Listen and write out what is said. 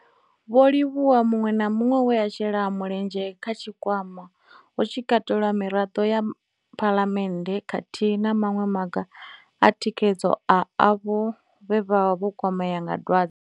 Vho livhuwa muṅwe na muṅwe we a shela mulenzhe kha tshikwama, hu tshi katelwa na miṅwe Miraḓo ya Phalamennde khathihi na maṅwe maga a u tikedza avho vhe vha kwamea nga dwadze.